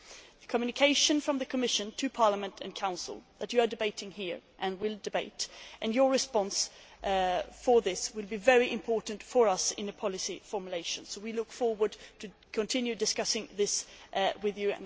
The communication from the Commission to the Parliament and the Council, which you are debating here and will debate, and your response to this will be very important for us in policy formulation, so we look forward to continuing the discussions on this with you.